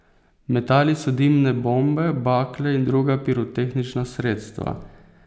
Metali so dimne bombe, bakle in druga pirotehnična sredstva.